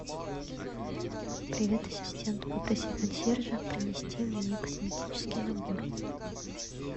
привет ассистент попроси консьержа принести мне косметический набор